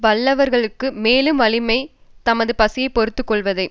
வல்லவர்க்கு மேலும் வலிமை தமது பசியை பொறுத்து கொள்வதே